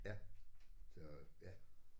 Ja så ja